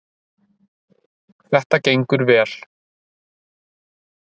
Þetta gengur vel